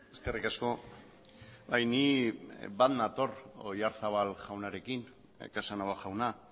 eskerrik asko bai ni bat nator oyarzabal jaunarekin casanova jauna